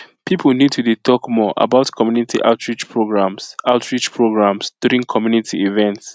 people need to dey talk more about community outreach programs outreach programs during community events